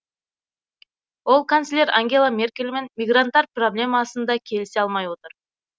ол канцлер ангела меркельмен мигранттар проблемасында келісе алмай отыр